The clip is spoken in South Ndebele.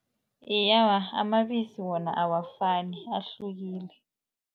Iye, awa amabisi wona awafani ahlukile.